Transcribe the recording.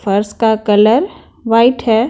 फर्स का colour white है।